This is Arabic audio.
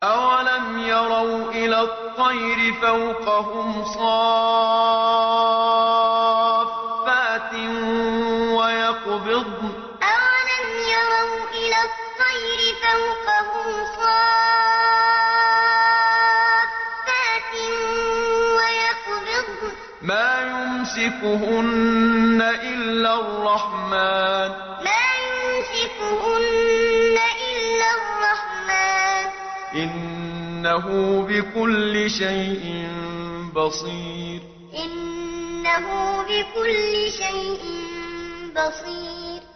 أَوَلَمْ يَرَوْا إِلَى الطَّيْرِ فَوْقَهُمْ صَافَّاتٍ وَيَقْبِضْنَ ۚ مَا يُمْسِكُهُنَّ إِلَّا الرَّحْمَٰنُ ۚ إِنَّهُ بِكُلِّ شَيْءٍ بَصِيرٌ أَوَلَمْ يَرَوْا إِلَى الطَّيْرِ فَوْقَهُمْ صَافَّاتٍ وَيَقْبِضْنَ ۚ مَا يُمْسِكُهُنَّ إِلَّا الرَّحْمَٰنُ ۚ إِنَّهُ بِكُلِّ شَيْءٍ بَصِيرٌ